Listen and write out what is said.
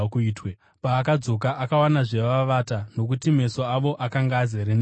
Paakadzoka, akavawanazve vavata nokuti meso avo akanga azere nehope.